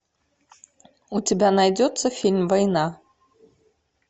у тебя найдется фильм война